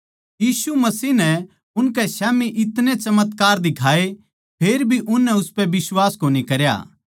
यीशु मसीह नै उनकै स्याम्ही इतणे चमत्कार दिखाए फेर भी उननै उसपै बिश्वास कोनी करया